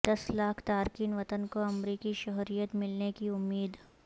دس لاکھ تارکین وطن کو امریکی شہریت ملنے کی امید